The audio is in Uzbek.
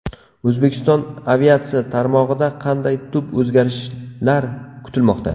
O‘zbekiston aviatsiya tarmog‘ida qanday tub o‘zgarishlar kutilmoqda?.